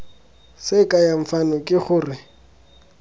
se kayang fano ke gore